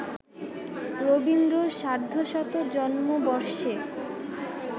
রবীন্দ্র সার্ধশত জন্মবর্ষে